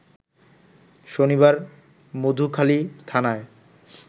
শনিবার মধুখালীথানায়